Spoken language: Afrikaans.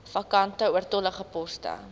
vakante oortollige poste